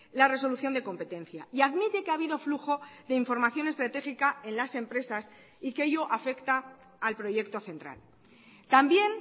la resolución de competencia y admite que ha habido flujo de información estratégica en las empresas y que ello afecta al proyecto central también